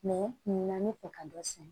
n bɛ fɛ ka dɔ sɛnɛ